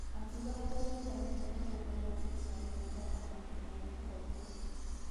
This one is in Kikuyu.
Akiuga atũrete amenyete nĩgũkoragwo na kĩmera gia kũhotana na kĩmera gia kũhotwo.